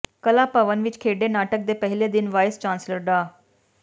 ਕਲਾ ਭਵਨ ਵਿੱਚ ਖੇਡੇ ਨਾਟਕ ਦੇ ਪਹਿਲੇ ਦਿਨ ਵਾਈਸ ਚਾਂਸਲਰ ਡਾ